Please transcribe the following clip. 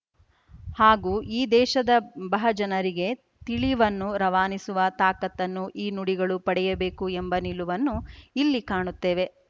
ಹಾಗೂ ಈ ದೇಶದ ಬಹಜನರಿಗೆ ತಿಳಿವನ್ನು ರವಾನಿಸುವ ತಾಕತ್ತನ್ನು ಈ ನುಡಿಗಳು ಪಡೆಯಬೇಕು ಎಂಬ ನಿಲುವನ್ನು ಇಲ್ಲಿ ಕಾಣುತ್ತೇವೆ